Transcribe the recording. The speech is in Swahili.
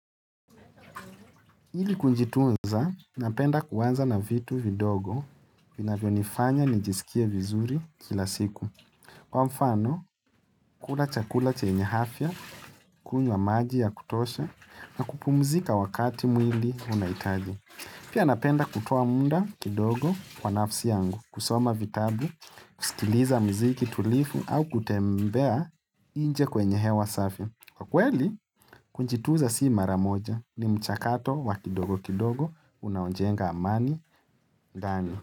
Ili kujitunza, napenda kuanza na vitu vidogo vinavyonifanya nijisikie vizuri kila siku. Kwa mafano, kula chakula chenye afya, kunywa maji ya kutosha, na kupumzika wakati mwili unahitaji. Pia napenda kutoa muda kidogo kwa nafsi yangu, kusoma vitabu, kusikiliza muziki tulivu au kutembea nje kwenye hewa safi. Kwa kweli, kujitunza si mara moja ni mchakato wa kidogo kidogo unaojenga amani ndani.